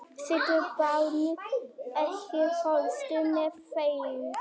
Sigurbjarni, ekki fórstu með þeim?